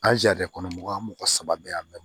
An kɔnɔ mɔgɔ saba bɛɛ